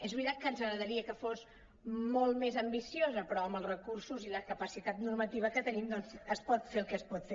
és veritat que ens agrada·ria que fos molt més ambiciosa però amb els recursos i la capacitat normativa que tenim doncs es pot fer el que es pot fer